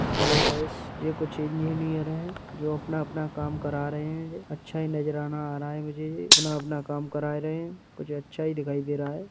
Hello guys ये कुछ engineer हैं जो अपना-अपना काम करा रहें हैं ये। अच्छा ही नजराना आ रहा है मुझे ये। अपना-अपना काम करा रहे हैं कुछ अच्छा ही दिखाई दे रहा है।